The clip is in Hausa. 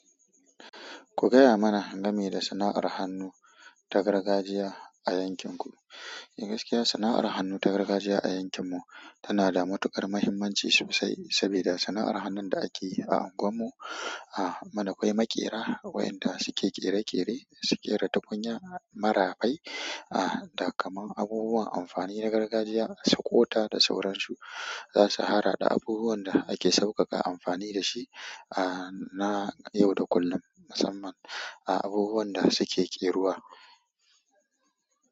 Ku gaya mana game da sana'ar hannu ta gargajiya a yankin ku. Gaskiya sana'ar hannu ta gargajiya a yankin mu tana da matukar muhimmanci sosai saboda sana'ar hannun da ake yi a unguwan mu, mana akwai maƙera wa'yanda suke ƙere-ƙere suke ƙere tukunya, marafai, da kamar abubuwan amfani na gargajiya, dasu ƙota da sauransu. Zasu harhaɗa abubuwan da ake sauƙaƙa amfani dashi na yau da kullum, musamman abubuwan da suke ƙerawa.